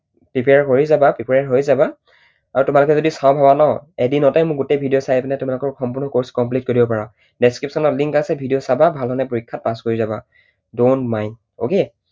Prepare কৰি যাবা prepare হৈ যাবা। আৰু তোমালোকে যদি চাওঁ ভাবা ন এদিনতে মোৰ গোটেই video চাই পিনে তোমালোকৰ course কৰি দিব পাৰা। description ত link আছে video চাবা ভালধৰণেৰে পৰীক্ষাত pass কৰি যাবা। don't mind, okay?